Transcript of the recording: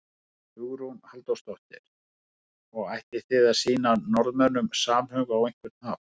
Hugrún Halldórsdóttir: Og ætlið þið að sýna Norðmönnum samhug á einhvern hátt?